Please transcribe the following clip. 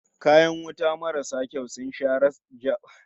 Kayan wuta marasu kyau sun sha jawo rasa rayuka da yawa